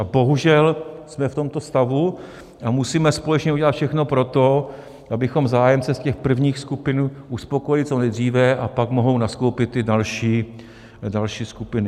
A bohužel jsme v tomto stavu a musíme společně udělat všechno pro to, abychom zájemce z těch prvních skupin uspokojili co nejdříve, a pak mohou nastoupit ty další skupiny.